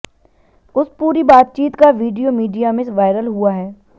उस पूरी बातचीत का वीडियो मीडिया में वायरल हुआ है